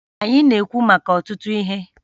Anyị na-ekwu maka ọtụtụ ihe